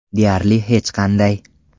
Deyarli hech qanday.